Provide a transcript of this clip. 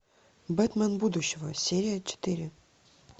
бэтмен будущего серия четыре